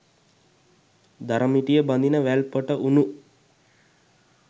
දර මිටිය බඳින වැල් පොට වුණු